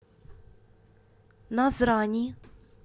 назрани